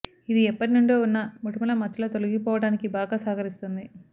ఇది ఎప్పటి నుండో ఉన్న మొటిమల మచ్చలు తొలగిపోవడానికి బాగా సహకరిస్తుంది